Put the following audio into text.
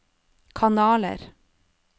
kanaler